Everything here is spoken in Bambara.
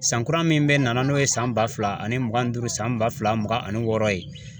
San kura min bɛ na n'o ye san ba fila ani mugan ni duuru san ba fila mugan ani wɔɔrɔ ye.